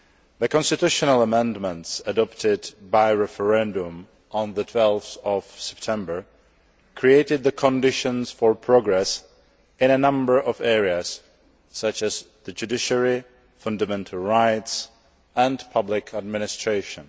The constitutional amendments adopted by referendum on 12 September created the conditions for progress in a number of areas such as the judiciary, fundamental rights and public administration.